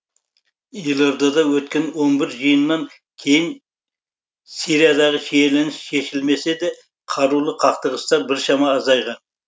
елордада өткен он бір жиыннан кейін сириядағы шиеленіс шешілмесе де қарулы қақтығыстар біршама азайған